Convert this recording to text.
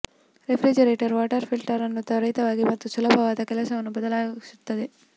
refrigerator water filter ಅನ್ನು ತ್ವರಿತವಾಗಿ ಮತ್ತು ಸುಲಭವಾದ ಕೆಲಸವನ್ನು ಬದಲಾಯಿಸುವುದು